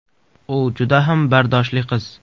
U juda ham bardoshli qiz.